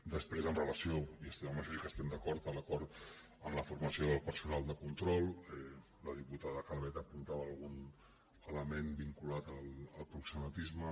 després amb relació i amb això sí que hi estem d’acord a l’acord en la formació del personal de control la diputada calvet apuntava algun element vinculat al proxenetisme